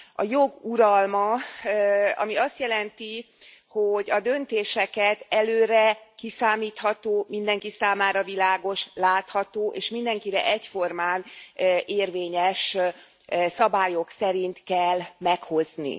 A jog uralma, ami azt jelenti, hogy a döntéseket előre kiszámítható, mindenki számára világos, látható és mindenkire egyformán érvényes szabályok szerint kell meghozni.